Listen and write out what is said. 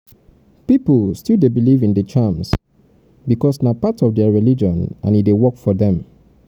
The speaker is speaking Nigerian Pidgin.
pipo still dey believe in di charms because na part of na part of their religion and e dey work for them